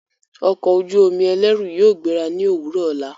Ọko ojú omi ẹlẹru yóò gbera ni owurọ ola